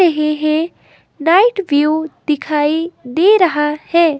रहे हे night view दिखाई दे रहा है।